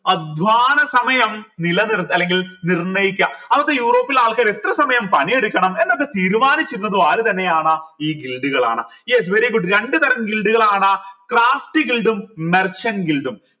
അധ്വാന സമയം നിലനിർത്ത അല്ലെങ്കിൽ നിർണയിക്ക അത് യൂറോപ്പിലെ ആൾകാർ എത്ര സമയം പണിയെടുക്കണം എന്നൊക്കെ തീരുമാനിച്ചിരുന്നത് ആര് തന്നെയാണ് ഈ കളാണ് yes very good രണ്ട് തരാം കളാണ് merchant